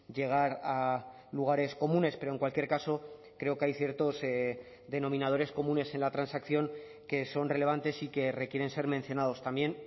llegar a lugares comunes pero en cualquier caso creo que hay ciertos denominadores comunes en la transacción que son relevantes y que requieren ser mencionados también